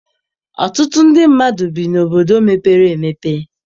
Ọtụtụ mmadụ bi n'obodo mepere emepe.